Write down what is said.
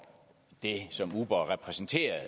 det som uber repræsenterer